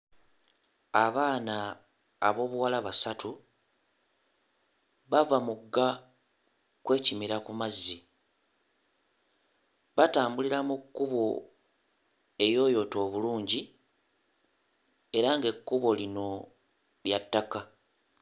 Abaana ab'obuwala basatu bava mugga kwekimira ku mazzi batambulira mu kkubo eriyooyoote obulungi era ng'ekkubo lino lya ttaka.